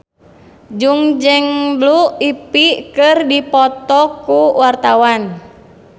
Jui jeung Blue Ivy keur dipoto ku wartawan